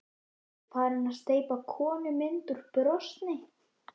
Er farin að steypa konumynd úr bronsi.